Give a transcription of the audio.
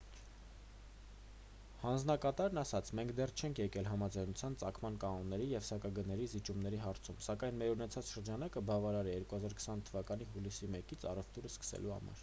հանձնակատարն ասաց մենք դեռ չենք եկել համաձայնության ծագման կանոնների և սակագների զիջումների հարցում սակայն մեր ունեցած շրջանակը բավարար է 2020 թվականի հուլիսի 1-ից առևտուրն սկսելու համար